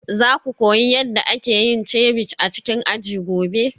Za ku koyi yadda ake yin ceviche a cikin aji gobe?